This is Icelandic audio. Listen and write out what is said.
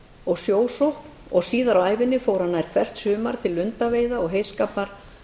og sjósókn og síðar á ævinni fór hann nær hvert sumar til lundaveiða og heyskapar